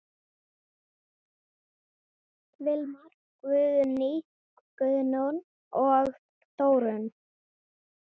Vilmar, Guðný, Guðrún og Þórunn.